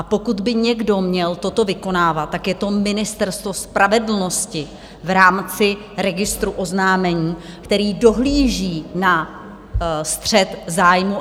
A pokud by někdo měl toto vykonávat, tak je to Ministerstvo spravedlnosti v rámci registru oznámení, který dohlíží na střet zájmu.